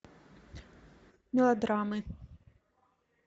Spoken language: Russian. мелодрамы